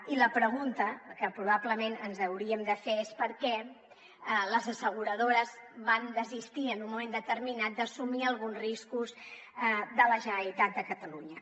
i la pregunta que probablement ens hauríem de fer és per què les asseguradores van desistir en un moment determinat d’assumir alguns riscos de la generalitat de catalunya